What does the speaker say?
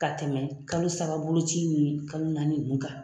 Ka tɛmɛ kalo saba boloci in ye kalo naani ninnu kan.